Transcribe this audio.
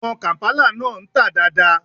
Àwọn kàǹpálà náà ń tà dáa dáa.